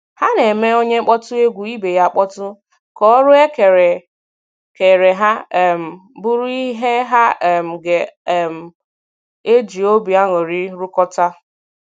Ha na - eme onye kpọtụ egwu ibe ya akpọtụ, ka ọrụ e kenyere ha um bụrụ ihe ha um ga um - eji obi aṅụrị rụkọta